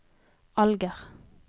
Alger